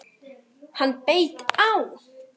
Hann beit á!